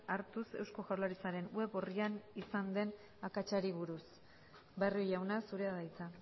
hartuz eusko jaurlaritzaren web orrian izan den akatsari buruz barrio jauna zurea da hitza